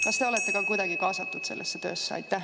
Kas te olete ka kuidagi kaasatud sellesse töösse?